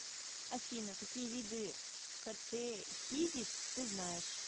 афина какие виды катехизис ты знаешь